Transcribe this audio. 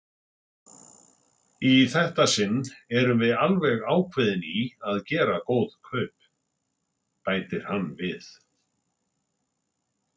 Í þetta sinn erum við alveg ákveðin í að gera góð kaup, bætir hann við.